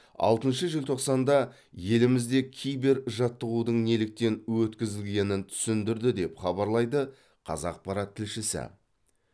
алтыншы желтоқсанда елімізде кибержаттығудың неліктен өткізілгенін түсіндірді деп хабарлайды қазақпарат тілшісі